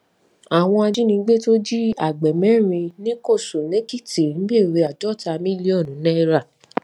àwọn ajínigbé tó jí agbè mẹrin nìkòsùnèkìtì ń béèrè àádọta mílíọnù náírà